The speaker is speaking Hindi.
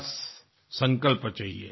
बस संकल्प चाहिए